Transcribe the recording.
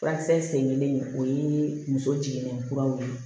Furakisɛ sen kelen o ye muso jiginnen kuraw ye